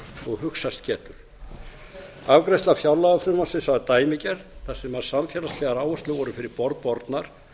og hugsast getur afgreiðsla fjárlagafrumvarpsins var dæmigerð þar sem samfélagslegar áherslur voru fyrir borð bornar